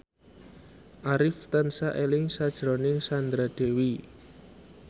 Arif tansah eling sakjroning Sandra Dewi